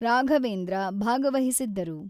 ರಾಘವೇಂದ್ರ ಭಾಗವಹಿಸಿದ್ದರು.